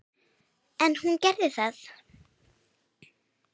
En hún gerði það.